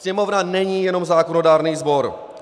Sněmovna není jenom zákonodárný sbor.